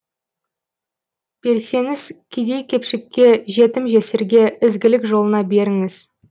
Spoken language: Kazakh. берсеңіз кедей кепшікке жетім жесірге ізгілік жолына беріңіз